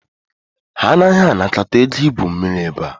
Ha anaghị anakọta ego igwu mmiri ebe a